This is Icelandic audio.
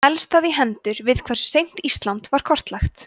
helst það í hendur við hversu seint ísland var kortlagt